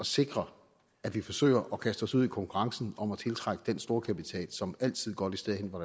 sikre at vi forsøger at kaste os ud i konkurrencen om at tiltrække den storkapital som altid går det sted hen hvor